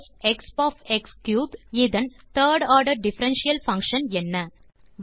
ப் sinஎக்ஸ்2expஎக்ஸ்3இன் third order differential function என்ன